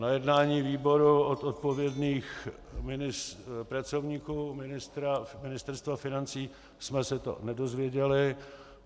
Na jednání výboru od odpovědných pracovníků Ministerstva financí jsme se to nedozvěděli.